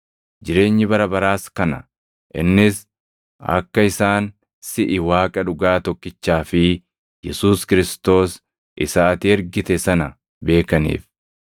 Jireenyi bara baraas kana: innis akka isaan siʼi Waaqa dhugaa tokkichaa fi Yesuus Kiristoos isa ati ergite sana beekaniif.